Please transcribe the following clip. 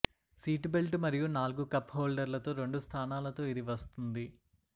seat belt మరియు నాలుగు cup హోల్డర్లతో రెండు స్థానాలతో ఇది వస్తుంది